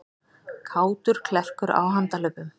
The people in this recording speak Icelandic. Kátur klerkur á handahlaupum